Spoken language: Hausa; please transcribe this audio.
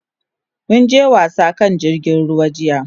Mun je wasa a kan jirgin ruwa jiya.